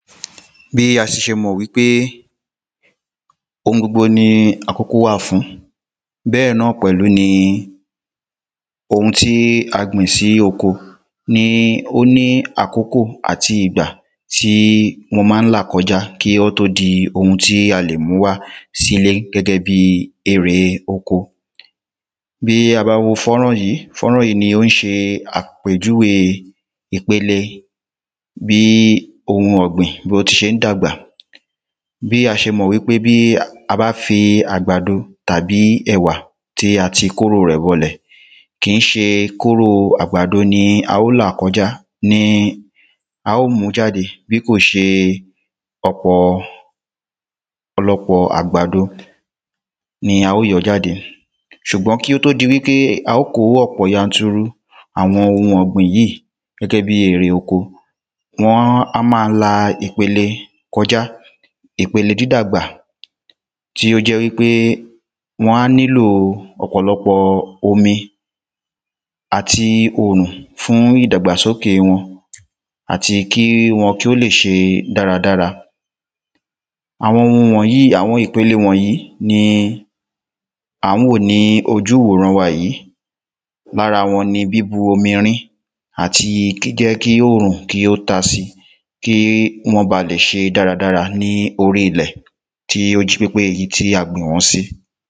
bí a ti ṣe mọ̀ wí pé ohun gbogbo ni àkókò wà fún, bẹ́ẹ̀ náà pẹ̀lú ni ohun tí a gbìn sí oko ni ó ní àkókò àti ìgbà tí wọ́n ma ń là kọjá kí ó tó di ohun tí a lè mú wá sí ilé gẹ́gẹ́ bíi erè oko bí a bá wo fọ́nrán yìí, fọ́nrán yìí ni ó ń ṣe àpéjúwe ìpele bí ohun ọ̀gbìn bó ti ṣe ń dàgbà bí a ṣe mọ̀ wí pé bí a bá fi àgbàdo tàbí ẹ̀wà tí a ti kóro rẹ̀ bọ ilẹ̀, kì í ṣe kóró àgbàdo ni a ò là kọjá ni a ò mú jáde bí kò ṣe ọ̀pọ̀ lọpọ̀ àgbàdo ni a ò yọ jáde ṣùgbọ́n kí ó tó di wí pé a ó kó ọ̀pọ̀ yanturu, àwọn ohun ọ̀gbìn yìí gẹ́gẹ́ bíi erè oko wọn á um máa la ìpele kọjá ipele dídàgbà, tí ó jẹ́ wí pé wọn á nílo ọ̀pọ̀lọpọ̀ omi àti òòrùn fún ìdàgbàsóke wọn, àti kí wọn kí ó lè ṣe dáradára àwọn ohun wọ̀nyí àwọn ìpele wọ̀nyí ni à ń wò ní ojú ìwòran wa yíì, lára wọn ni bíbu omi rin, àti jíjẹ́ kí òòrùn kí ó ta si kí wọ́n ba lè ṣe dáradára ní orí ilẹ̀ tí ó jí pépé, èyí tí a gbìn wọ́n sí